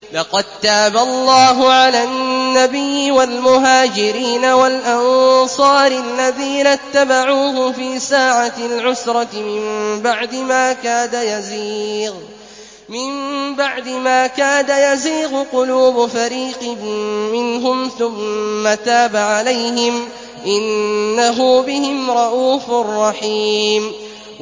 لَّقَد تَّابَ اللَّهُ عَلَى النَّبِيِّ وَالْمُهَاجِرِينَ وَالْأَنصَارِ الَّذِينَ اتَّبَعُوهُ فِي سَاعَةِ الْعُسْرَةِ مِن بَعْدِ مَا كَادَ يَزِيغُ قُلُوبُ فَرِيقٍ مِّنْهُمْ ثُمَّ تَابَ عَلَيْهِمْ ۚ إِنَّهُ بِهِمْ رَءُوفٌ رَّحِيمٌ